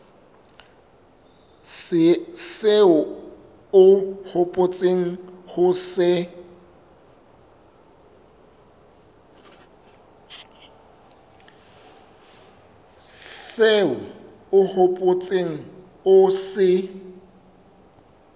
seo o hopotseng ho se